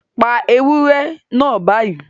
Pa ewúrẹ́ náà báyìí